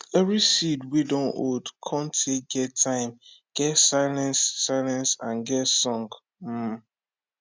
every seed wey dun old cun tay get time get silence silence and get song um